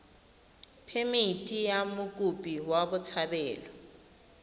phemithi ya mokopi wa botshabelo